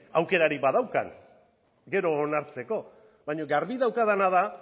aukerarik badaukadan gero onartzeko baina garbi daukadana da